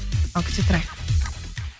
ал күте тұрайық